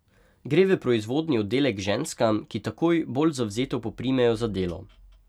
Gre v proizvodni oddelek k ženskam, ki takoj bolj zavzeto poprimejo za delo.